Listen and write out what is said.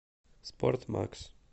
спортмакс